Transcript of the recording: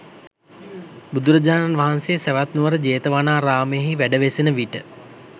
බුදුරජාණන් වහන්සේ සැවැත්නුවර ජේතවනාරාමයෙහි වැඩවෙසෙන විට